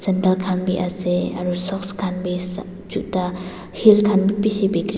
takhan biase aru socks khan bisop juta heel khan bi bishi--